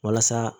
Walasa